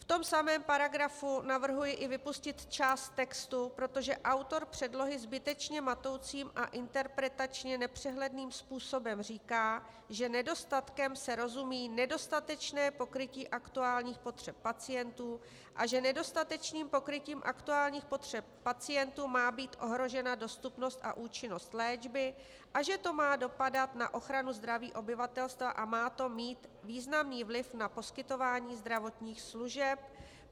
V tom samém paragrafu navrhuji i vypustit část textu, protože autor předlohy zbytečně matoucím a interpretačně nepřehledným způsobem říká, že nedostatkem se rozumí nedostatečné pokrytí aktuálních potřeb pacientů a že nedostatečným pokrytím aktuálních potřeb pacientů má být ohrožena dostupnost a účinnost léčby a že to má dopadat na ochranu zdraví obyvatelstva a má to mít významný vliv na poskytování zdravotních služeb.